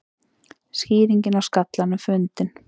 Skýringin á skallanum fundin